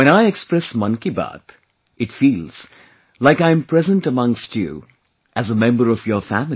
When I express Mann Ki Baat, it feels like I am present amongst you as a member of your family